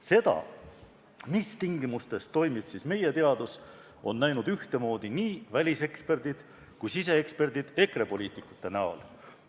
Seda, mis tingimustes toimib meie teadus, on näinud ühtemoodi nii väliseksperdid kui ka siseeksperdid EKRE poliitikute näol.